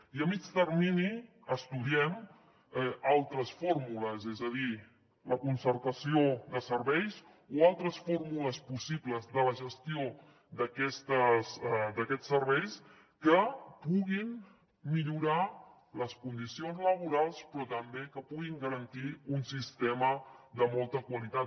i a mitjà termini estudiem altres fórmules és a dir la concertació de serveis o altres fórmules possibles de la gestió d’aquests serveis que puguin millorar les condicions laborals però també que puguin garantir un sistema de molta qualitat